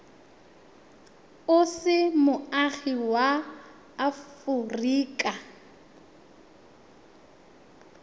o se moagi wa aforika